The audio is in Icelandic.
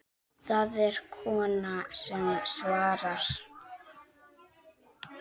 Það er kona sem svarar.